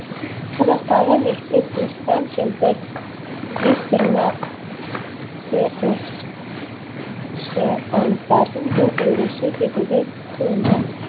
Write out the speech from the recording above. қазақтағы мифтік мыстан кемпір жезтырнақ т с с аңыздардың бір үлгісі секілді туынды